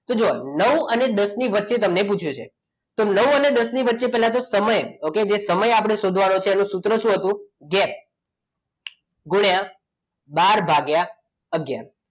તો જુઓ નવ અને દસ ની વચ્ચે તમને પૂછ્યું છે તો નવ અને દસ ની વચ્ચે પહેલા તો સમય ઓકે સમય શોધવાનું છે તો એનું સૂત્ર શું હતું ગેપ ગુણ્યા બાર ભાગ્ય આગયાર